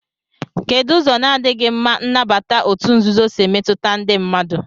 Kedụ ụzọ na-adịghị mma nnabata òtù nzuzo si emetụta ndị mmadụ?